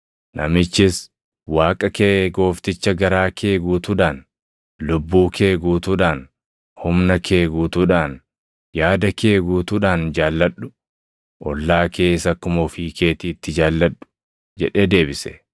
Namichis, “ ‘Waaqa kee Goofticha garaa kee guutuudhaan, lubbuu kee guutuudhaan, humna kee guutuudhaan, yaada kee guutuudhaan jaalladhu; + 10:27 \+xt KeD 6:5\+xt* ollaa kees akkuma ofii keetiitti jaalladhu’ + 10:27 \+xt Lew 19:18\+xt*” jedhee deebise.